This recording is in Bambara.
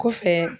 Kɔfɛ